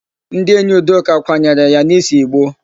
Ndị enyi Udoka kwanyere ya n'isee ìgbó.